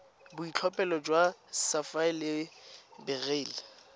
boitlhophelo jwa sapphire le beryl